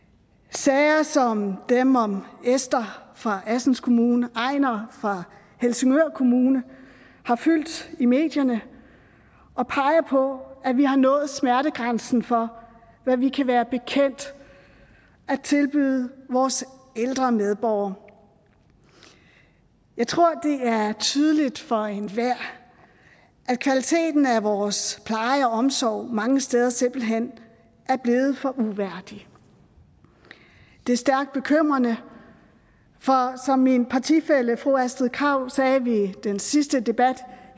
sager som dem om esther fra assens kommune einar fra helsingør kommune har fyldt i medierne og peger på at vi har nået smertegrænsen for hvad vi kan være bekendt at tilbyde vores ældre medborgere jeg tror det er tydeligt for enhver at kvaliteten af vores pleje og omsorg mange steder simpelt hen er blevet for uværdig det er stærkt bekymrende for som min partifælle fru astrid krag sagde ved den sidste debat